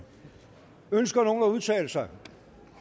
ønsker nogen at udtale sig det